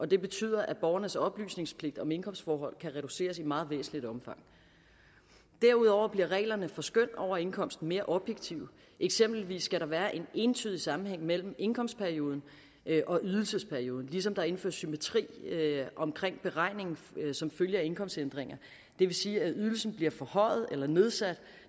det betyder at borgernes oplysningspligt om indkomstforhold kan reduceres i meget væsentligt omfang derudover bliver reglerne for skøn over indkomsten mere objektive eksempelvis skal der være en entydig sammenhæng mellem indkomstperioden og ydelsesperioden ligesom der indføres symmetri omkring beregningen som følge af indkomstændringer det vil sige at ydelsen bliver forhøjet eller nedsat